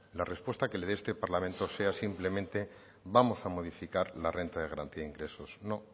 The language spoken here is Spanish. la respuesta que le dé este parlamento sea simplemente vamos a modificar la renta de garantía ingresos no